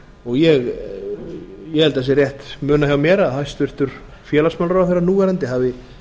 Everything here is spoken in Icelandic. og ég held að það sé rétt munað hjá mér að hæstvirtur félagsmálaráðherra núv hafi